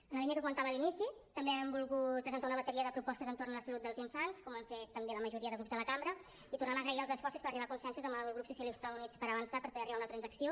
en la línia que comentava a l’inici també hem volgut presentar una bateria de propostes entorn de la salut dels infants com han fet també la majoria de grups de la cambra i tornar a agrair els esforços per arribar a consensos amb el grup socialistes i units per avançar per poder arribar a una transacció